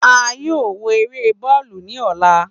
A yoo wo ere bọọlu ni ọla.